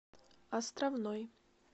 островной